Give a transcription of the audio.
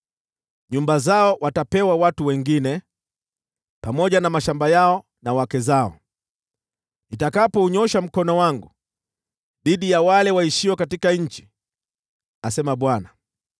Nyumba zao zitapewa watu wengine, pamoja na mashamba yao na wake zao, nitakapounyoosha mkono wangu dhidi ya wale waishio katika nchi,” asema Bwana .